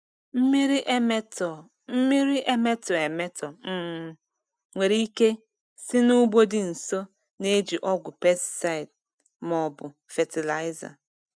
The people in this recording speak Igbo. Mmiri emetọ Mmiri emetọ emetọ um nwere ike si n'ugbo dị nso na-eji ọgwụ pesticide ma ọ bụ fatịlaịza.